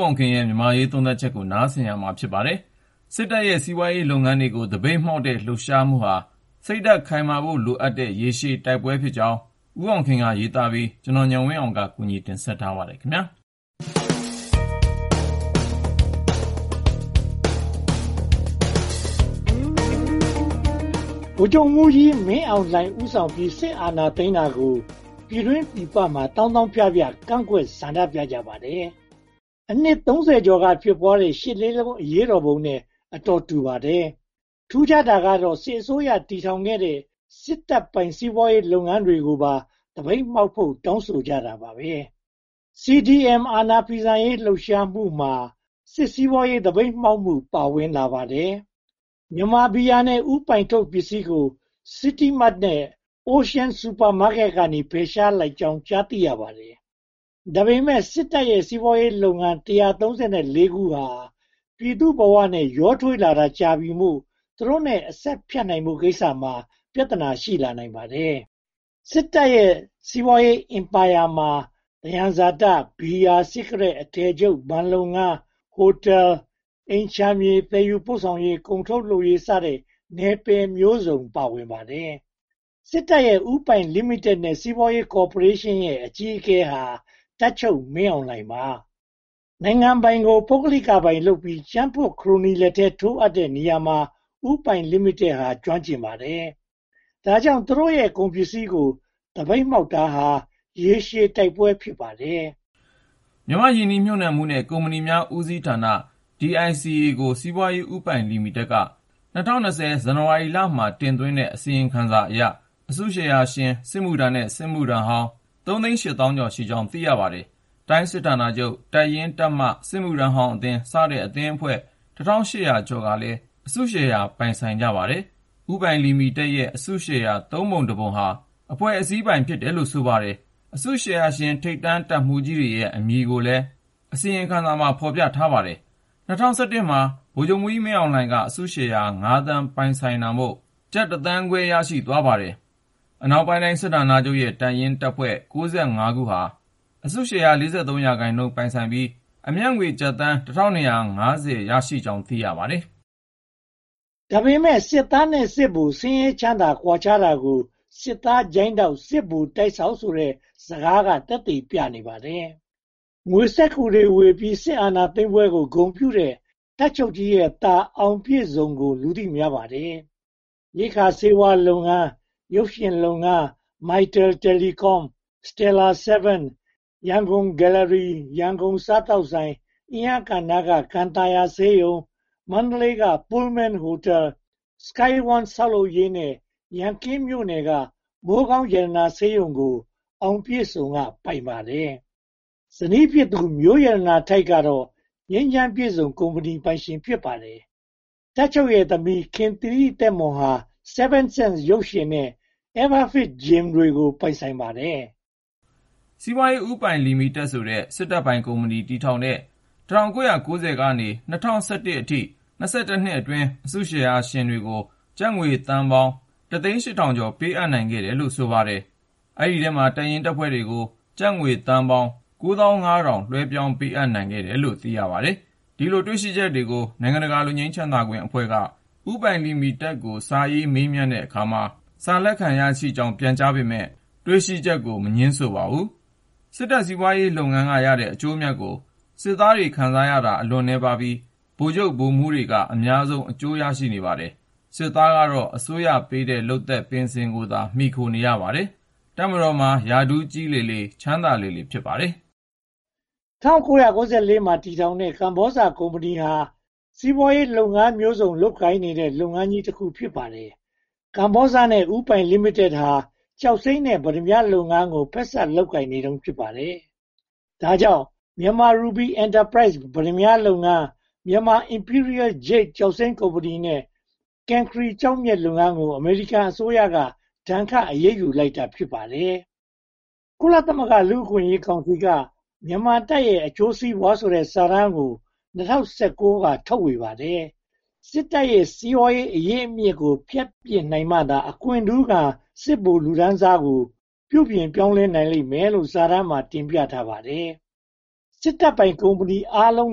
အောင်ခင် မြန်မာ့အရေး သုံးသပ်ချက် စစ်တပ်ရဲ့ စီးပွားရေးလုပ်ငန်းတွေကို သပိတ်မှောက်တဲ့ လှုပ်ရှားမှုဟာ စိတ်ဓါတ်ခိုင်မာဖို့လိုတဲ့ ရေရှည်တိုက်ပွဲဖြစ်ကြောင်း ဦးအောင်ခင်က ရေးပြီး ကိုဉာဏ်ဝင်းအောင်နဲ့အတူ တင်ဆက်ထားပါတယ်။ ဗိုလ်ချုပ်မှူးကြီးမင်းအောင်လှိုင် ဦးဆောင်ပြီး စစ်အာဏာသိမ်းတာကို ပြည်တွင်းပြည်ပမှာ သောင်းသောင်းဖြဖြ ကန့်ကွက်ဆန္ဒပြကြပါတယ်။ အနှစ် (၃၀) ကျော်က ဖြစ်ပွားတဲ့ ရှစ်လေးလုံးအရေးတော်ပုံနဲ့ အတော်တူပါတယ်။ ထူးခြားတာကတော့ စစ်အစိုးရတည်ထောင်ခဲ့တဲ့ စစ်တပ်ပိုင် စီးပွားရေးလုပ်ငန်းတွေကိုပါ သပိတ်မှောက်ဖို့ တောင်းဆိုကြတာပါ။ CDM အာဏာဖီဆန်ရေး လှုပ်ရှားမှုမှာ စစ်စီးပွားရေး သပိတ်မှောက်မှု ပါဝင်လာတယ်။ မြန်မာဘီယာနဲ့ ဦးပိုင်ထုတ်ပစ္စည်းကို City Mart နဲ့ Ocean Super Market က ဖယ်ရှားလိုက်ကြောင်း သိရပါတယ်။ ဒါပေမဲ့ စစ်တပ်ရဲ့ စီးပွားရေးလုပ်ငန်း (၁၃၄) ခုဟာ ပြည်သူ့ဘဝနဲ့ ရောထွေးလာတာကြာပြီမို့ သူတို့နဲ့ အဆက်ဖြတ်နိုင်ဖို့ကိစ္စမှာ ပြဿနာ ရှိလာနိုင်ပါတယ်။ စစ်တပ်ရဲ့ စီးပွားရေးအင်ပါယာမှာ သယံဇာတ၊ ဘီယာ၊ စီးကရက်၊ အထည်ချုပ်၊ ဘဏ်လုပ်ငန်း၊ ဟိုတယ်၊ အိမ်ခြံမြေ၊ သယ်ယူပို့ဆောင်ရေး၊ ကုန်ထုတ်လုပ်ရေး စတဲ့ နယ်ပယ်မျိုးစုံပါတယ်။ စစ်တပ်ရဲ့ ဦးပိုင်လိမိတက်နဲ့ စီးပွားရေးကော်ပိုရေးရှင်းရဲ့ အကြီးအကဲဟာ တပ်ချုပ်မင်းအောင်လှိုင်ပါ။ နိုင်ငံပိုင်ကို ပုဂ္ဂလိကပိုင်လုပ်ပြီး၊ ကြံ့ဖွံ့နဲ့ ခရိုနီလက်ထဲ ထိုးအပ်တဲ့နေရာမှာ ဦးပိုင်လိမိတက်ဟာ ကျွမ်းကျင်ပါတယ်။ ဒါကြောင့် သူတို့ရဲ့ ကုန်ပစ္စည်းကို သပိတ်မှောက်တာဟာ ရေရှည်တိုက်ပွဲ ဖြစ်ပါတယ်။ မြန်မာ့ရင်းနှီးမြုပ်နံှမှုနဲ့ ကုမ္ပဏီများ ဦးစီးဌာန (DICA) ကို စီးပွားရေးဦးပိုင်လိမိတက်က ၂၀၂၀ ဇန်နဝါရီမှာ တင်သွင်းတဲ့ အစီရင်ခံစာအရ အစုရှယ်ယာ စစ်မှုထမ်းနဲ့ စစ်မှုထမ်းဟောင်း (၃၈၁,၆၃၆) ရှိကြောင်း သိရပါတယ်။ တိုင်းစစ်ဌာနချုပ်၊ တပ်ရင်း၊ တပ်မ၊ စစ်မှုထမ်းဟောင်းအသင်း စတဲ့ အဖွဲ့အစည်း (၁၈၀၁) ကလည်း အစုရှယ်ယာပိုင်ဆိုင်ကြပါတယ်။ ဦးပိုင်လိမိတက်ရဲ့ အစုရှယ်ယာ (သုံးပုံ/တပုံ) ဟာ အဖွဲ့အစည်းပိုင် ဖြစ်တယ်လို့ ဆိုပါတယ်။ အစုရှယ်ယာရှင် ထိပ်တန်းတပ်မှူးကြီးတွေရဲ့ အမည်ကိုလည်း အစီရင်ခံစာမှာ ဖော်ပြထားပါတယ်။ ၂၀၁၁ မှာ ဗိုလ်ချုပ်မှူးကြီး မင်းအောင်လှိုင်က အစုရှယ်ယာ (၅) သိန်း ပိုင်ဆိုင်တာမို့ ကျပ်တသန်းခွဲ (သို့မဟုတ်) အမေရိကန်ဒေါ်လာ (၂) သိန်းခွဲ ရရှိသွားပါတယ်။ အနောက်ပိုင်းတိုင်း စစ်ဌာနချုပ်ရဲ့ တပ်ရင်း/တပ်ဖွဲ့ (၉၅) ခုဟာ အစုရှယ်ယာ (၄၃) သန်းပိုင်ဆိုင်ပြီး အမြတ်ငွေ ကျပ်သန်း (၁၂၅၀) သို့မဟုတ် အမေရိကန်ဒေါ်လာ (၂၀၈) သန်း ရရှိကြောင်း သိရပါတယ်။ ဒါပေမဲ့ စစ်သားနဲ့ စစ်ဗိုလ် ဆင်းရဲချမ်းသာ ကွာခြားတာကို စစ်သားချိုင်းထောက် စစ်ဗိုလ်တိုက်ဆောက်ဆိုတဲ့ စကားသက်သေပြနေပါတယ်။ ငွေစက္ကူတွေဝေပြီး စစ်အာဏာသိမ်းပွဲကို ဂုဏ်ပြုတဲ့ တပ်ချုပ်ကြီးရဲ့သား ‘အောင်ပြည့်စုံ’ ကို လူသိများပါတယ်။ ရိက္ခာဆေးဝါးလုပ်ငန်း၊ ရုပ်ရှင်လုပ်ငန်း၊ Mytel Telecom, Steller Seven, Yangon Gallery, Yangon စားသောက်ဆိုင်၊ အင်းယားကန်နားက ကန်သာယာဆေးရုံ၊ မန္တလေးက Pullman ဟိုတယ်၊ Sky One ဆောက်လုပ်ရေးနဲ့ ရန်ကင်းမြို့နယ်က မိုးကောင်းရတနာဆေးရုံကို အောင်ပြည့်စုံ က ပိုင်ပါတယ်။ ဇနီးဖြစ်သူ မျိုးရတနာထိုက် က ငြိမ်းချမ်းပြည့်စုံကုမ္ပဏီ ပိုင်ရှင်ဖြစ်ပါတယ်။ တပ်ချုပ်ရဲ့ သမီးခင်သီရိသက်မွန်က Seven Sense ရုပ်ရှင်နဲ့ Everfit Gym ကို ပိုင်ပါတယ်။ စီးပွားရေးဦးပိုင်လိမိတက်ဆိုတဲ့ စစ်တပ်ပိုင်ကုမ္ပဏီ တည်ထောင်တဲ့ ၁၉၉၀ က ၂၀၁၁ အထိ (၂၁) နှစ်အတွင်း အစုရှယ်ယာရှင်တွေကို ကျပ်သန်းပေါင်း (၁၀၈, ၀၀၀) အမေရိကန်ဒေါ်လာ သန်း (၁၈၀၀) ပေးအပ်နိုင်ခဲ့တယ်လို့ သိရပါတယ်။ အဲဒီအထဲမှာ တပ်ရင်းတပ်ဖွဲ့တွေကို ကျပ်သန်းပေါင်း (၉၅,၀၀၀) လွှဲပြောင်းပေးနိုင်တယ်လို့ သိရပါတယ်။ ဒီတွေ့ရှိချက်တွေကို နိုင်ငံတကာ လွတ်ငြိမ်ချမ်းသာခွင့်အဖွဲ့က ဦးပိုင်လိမိတက်ကို စာရေးမေးမြန်းတဲ့အခါမှာ စာလက်ခံရရှိကြောင်း ပြန်ကြားပေမယ့် တွေ့ရှိချက်ကို မငြင်းဆိုပါဘူး။ စစ်တပ်စီးပွားရေးလုပ်ငန်းကရတဲ့ အကျိုးအမြတ်ကို စစ်သားခံစားရတာ အလွန်နည်းပါးပြီး ဗိုလ်မှူးဗိုလ်ချုပ်က အများဆုံး အကျိုးခံစားရပါတယ်။ စစ်သားကတော့ အစိုးရပေးတဲ့ လုပ်သက်ပင်စင်ကိုသာ မှီခိုနေရပါတယ်။ တပ်မတော်မှာ ရာထူးကြီးလေ ချမ်းသာလေ ဖြစ်နေပါတယ်။ ၁၉၉၄ မှာ တည်ထောင်တဲ့ ကမ္ဘောဇကုမ္ပဏီဟာ စီးပွားရေးလုပ်ငန်းမျိုးစုံ လုပ်ကိုင်နေတဲ့ လုပ်ငန်းကြီးတခု ဖြစ်ပါတယ်။ ကမ္ဘောဇနဲ့ ဦးပိုင်လိမိတက်ဟာ ကျောက်စိမ်းနဲ့ ပတ္တမြားလုပ်ငန်းမှာ ဖက်စပ်လုပ်ကိုင်နေတုန်း ဖြစ်ပါတယ်။ ဒါကြောင့် Myanmar Ruby Enterprise ပတ္တမြားလုပ်ငန်း၊ Myanmar Imperial Jade ကျောက်စိမ်းကုမ္ပဏီနဲ့ Cancri ကျောက်မျက်လုပ်ငန်းကို အမေရိကန်အစိုးရက အရေးယူဒဏ်ခတ်လိုက်တာ ဖြစ်ပါတယ်။ ကုလသမဂ္ဂ လူ့အခွင့်အရေးကောင်စီက မြန်မာတပ်ရဲ့ အကျိုးစီးပွားဆိုတဲ့ စာတမ်းကို ၂၀၁၉ စက်တင်ဘာလက ထုတ်ဝေပါတယ်။ စစ်တပ်ရဲ့ စီးပွားရေးအရင်းအမြစ်ကို ဖြတ်ပစ်နိုင်မှသာ အခွင့်ထူးခံ စစ်ဗိုလ်လောကကို ပြုပြင်ပြောင်းလဲနိုင်လိမ့်လို့ စာတမ်းမှာ တင်ပြထားပါတယ်။ စစ်တပ်ပိုင်ကုမ္ပဏီအားလုံး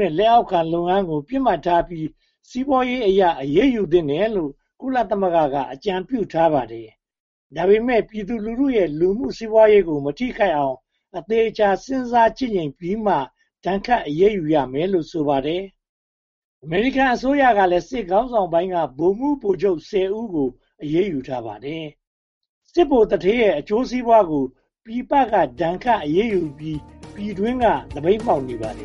နဲ့ လက်အောက်ခံလုပ်ငန်းကို ပစ်မှတ်ထားပြီး စီးပွားရေးအရ အရေးယူသင့်တယ်လို့ ကုလသမဂ္ဂက အကြံပြုထားပါတယ်။ ဒါပေမဲ့ ပြည်သူလူထုရဲ့ လူမှုအကျိုးစီးပွားကို မထိခိုက်အောင် အသေအချာ စဉ်းစားချင့်ချိန်ပြီးမှ ဒဏ်ခတ်အရေးယူရမယ်လို့ ဆိုပါတယ်။ အမေရိကန်အစိုးရကလည်း စစ်ခေါင်းဆောင်ပိုင်းက ဗိုလ်မှူးဗိုလ်ချုပ် (၁၀) ဦးကို အရေးယူထားပါတယ်။ စစ်ဗိုလ်သူဌေးရဲ့ အကျိုးစီးပွားကို ပြည်ပက ဒဏ်ခတ်အရေးယူပြီး ပြည်တွင်းက သပိတ်မှောက်နေပါတယ်။